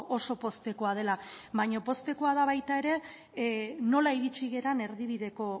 oso poztekoa dela baina poztekoa da baita ere nola iritsi garen erdibideko